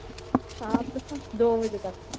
ਸ਼ਾਮ ਤੱਕ ਦੋ ਵਜੇ ਤੱਕ।